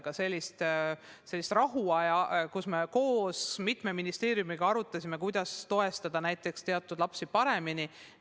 Aga sellist rahulikku aega, kus me koos mitme ministeeriumiga arutasime, kuidas toetada näiteks teatud lapsi paremini, pole olnud.